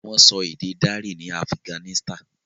Wón sọ ede darí ní Afiganisitani.